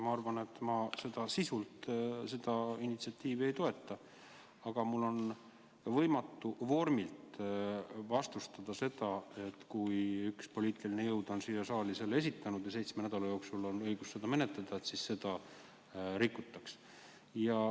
Ma arvan, et ma sisuliselt seda initsiatiivi ei toeta, aga mul on ka võimatu vormilt vastustada seda, et kui üks poliitiline jõud on selle siia saali esitanud ja meil on õigus seda seitsme nädala jooksul menetleda, siis seda rikutakse.